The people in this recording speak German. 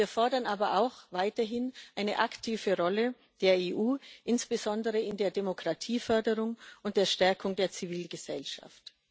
Wir fordern aber auch weiterhin eine aktive Rolle der EU, insbesondere in der Demokratieförderung und der Stärkung der Zivilgesellschaft.